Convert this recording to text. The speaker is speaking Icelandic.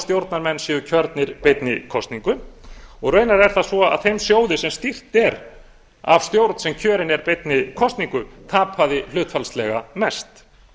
stjórnarmenn séu kjörnir beinni kosningu og raunar er það svo að þeim sjóði sem stýrt er af stjórn sem kjörin er beinni kosningu tapaði hlutfallslega mest